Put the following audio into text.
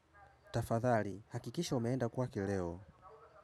Tafadhali, hakikisha umeenda kwake leo.